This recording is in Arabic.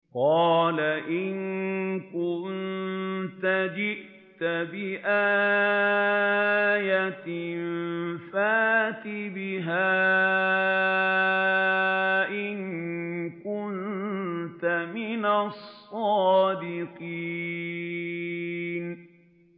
قَالَ إِن كُنتَ جِئْتَ بِآيَةٍ فَأْتِ بِهَا إِن كُنتَ مِنَ الصَّادِقِينَ